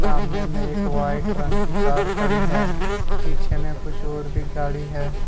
सामने में एक व्हाइट रंग की कार खड़ी है पीछे में कुछ और भी गाड़ी है।